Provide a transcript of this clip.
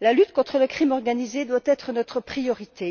La lutte contre la criminalité organisée doit être notre priorité.